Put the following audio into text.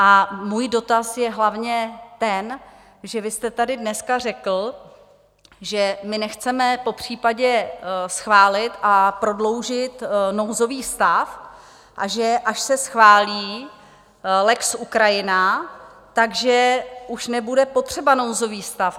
A můj dotaz je hlavně ten, že vy jste tady dneska řekl, že my nechceme popřípadě schválit a prodloužit nouzový stav a že až se schválí lex Ukrajina, tak že už nebude potřebný nouzový stav.